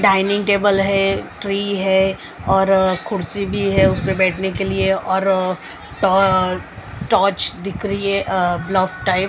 Dining table है tree है और खुर्सी भी है उसमें बैठने के लिए और टा अ टॉर्च दिख रही है ब्लफ टाइप ।